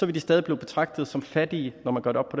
de stadig blive betragtet som fattige når man gør det op